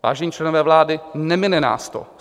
Vážení členové vlády, nemine nás to.